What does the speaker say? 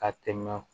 Ka tɛmɛ